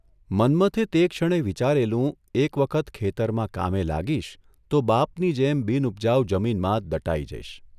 મન્મથે તે ક્ષણે વિચારેલું એક વખત ખેતરમાં કામે લાગીશ તો બાપની જેમ બિનઉપજાઉ જમીનમાં જ દટાઇ જઇશ.